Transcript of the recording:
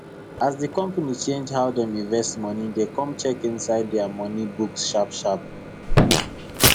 as the company change how dem invest money dem come check inside their money books sharpsharp